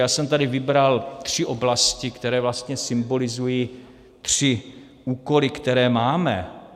Já jsem tady vybral tři oblasti, které vlastně symbolizují tři úkoly, které máme.